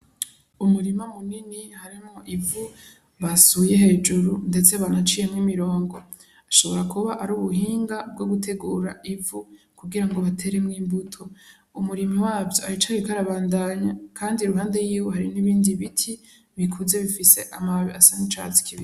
Umurima munini harimwo ivu basuye hejuru ndetse banaciyemwo imirongo, bishobora kuba ari ubuhinga bwo gutegura ivu kugira ngo bateremwo imbuto, umurimyi wavyo aracariko arabandanya kandi iruhande yiwe hari n'ibindi biti bikuze bifise amababi asa n'icatsi kibisi.